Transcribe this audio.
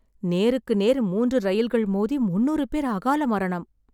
நேருக்கு நேர் மூன்று ரயில்கள் மோதி முந்நூறு பேர் அகால மரணம்.